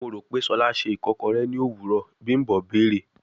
Mo ro pe Shola ṣe ikokore ni owurọ, bimbo beere